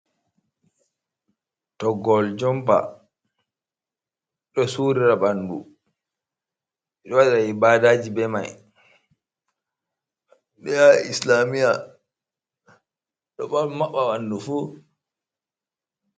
Toggol jompa, ɗo su rira ɓandu, ɗo waɗa ibadaji be mai, ɗo yaha islamiya, ɗo maɓɓa ɓandu fu.